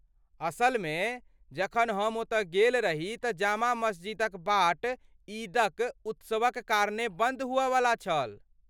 असलमे, जखन हम ओतऽ गेल रही तँ जामा मस्जिदक बाट ईदक उत्सवक कारणेँ बन्द हुअयवला छल।